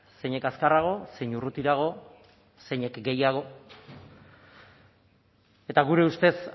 zeinek azkarrago zein urrutirago zeinek gehiago eta gure ustez